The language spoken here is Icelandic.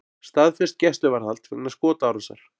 Staðfest gæsluvarðhald vegna skotárásar